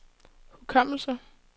hukommelse